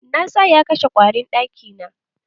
Na sa ya kashe ƙwarin ɗaki na.